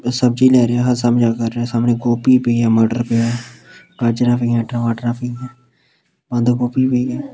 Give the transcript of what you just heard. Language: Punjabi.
ਉਹ ਸਬਜ਼ੀ ਲੈ ਰਿਹਾ ਸਬਜਾ ਕਰ ਰਿਹਾ ਸਾਹਮਣੇ ਗੋਭੀ ਪਈ ਆ ਮਟਰ ਪਿਆ ਗਾਜਰਾਂ ਪਈਆਂ ਟਮਾਟਰਾਂ ਪਈਆਂ ਬੰਦ ਗੋਭੀ ਪਈ ਆ।